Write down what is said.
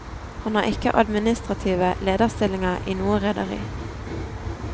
Han har ikke administrative lederstillinger i noe rederi.